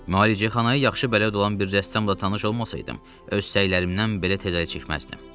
Müalicəxanaya yaxşı bələd olan bir rəssamla tanış olmasaydım, öz səylərimdən belə tez əl çəkməzdim.